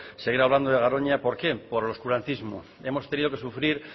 seguir hablando de garoña por qué por oscurantismo hemos tenido que sufrir